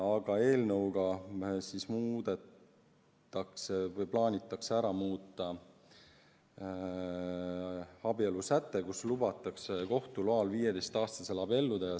Aga eelnõu kohaselt muudetakse abielusätet, kus lubatakse kohtu loal ka 15-aastasel abielluda.